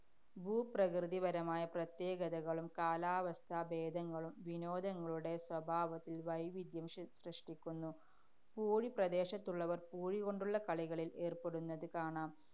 ഭൂപ്രകൃതിപരമായ പ്രത്യേകതകളും, കാലാവസ്ഥാഭേദങ്ങളും വിനോദങ്ങളുടെ സ്വഭാവത്തില്‍ വൈവിധ്യം സൃഷ്~ സൃഷ്ടിക്കുന്നു. പൂഴി പ്രദേശത്തുള്ളവര്‍ പൂഴികൊണ്ടുള്ള കളികളില്‍ ഏര്‍പ്പെടുന്നത് കാണാം.